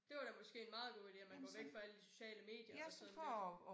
Det var da måske en meget god ide at man går væk fra alle de sociale medier og sådan lidt